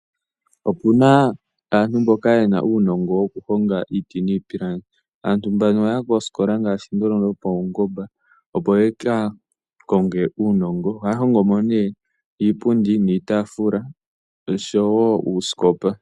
Opuna aantu mboka yena uunongo woku honga iiti niipilangi. Aantu mbano oyaya kooskola ngaashi ndhono dhopaungomba opo yaka konge uunongo, ohaya hongomo nee iipundi niitaafula nosho woo uuskopa.